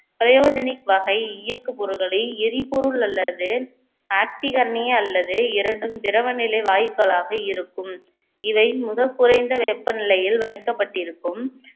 பிரயோஜனிக் வகை இயக்குபொருட்களை எரிபொருள் அல்லது ஆக்சிகரணி அல்லது இரண்டும் திரவ நிலை வாயுக்களாக இருக்கும் இவை முதல் குறைந்த வெப்பநிலையில் வைக்கப்பட்டிருக்கும்